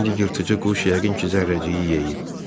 İndi yırtıcı quş yəqin ki, zərrəciyi yeyib.